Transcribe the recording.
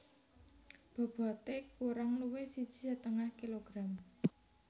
Bobote kurang luwih siji setengah kilogram